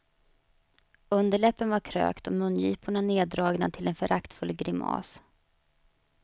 Underläppen var krökt och mungiporna neddragna till en föraktfull grimas.